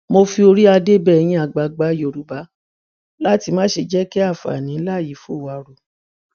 mo fi oríadé bẹ ẹyin àgbààgbà yorùbá láti má ṣe jẹ kí àǹfààní ńlá yìí fò wá ru